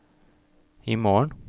imorgen